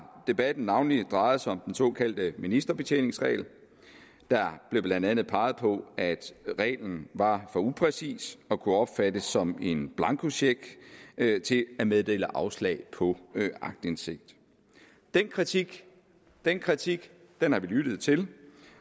debatten navnlig drejet sig om den såkaldte ministerbetjeningsregel der blev blandt andet peget på at reglen var for upræcis og kunne opfattes som en blankocheck til at meddele afslag på aktindsigt den kritik den kritik har vi lyttet til